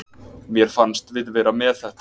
Mér fannst við vera með þetta.